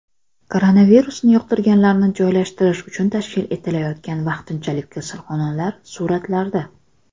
Koronavirusni yuqtirganlarni joylashtirish uchun tashkil etilayotgan vaqtinchalik kasalxonalar suratlarda.